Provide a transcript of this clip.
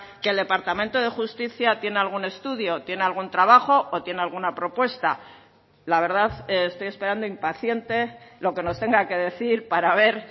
que el departamento de justicia tiene algún estudio tiene algún trabajo o tiene alguna propuesta la verdad estoy esperando impaciente lo que nos tenga que decir para ver